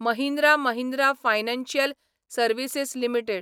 Mahindra Mahindra financial services limited